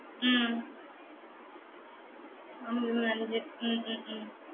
உம் உம் உம் உம்